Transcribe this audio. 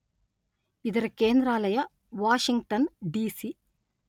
ಇದರ ಕೇಂದ್ರಾಲಯ ವಾಷಿಂಗ್ಟನ್ ಡಿ_letter-en .ಸಿ_letter-en.